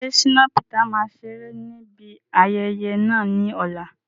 Ṣé Shina Peters máa ṣeré ní ibi ayẹyẹ náà ní ọ̀la?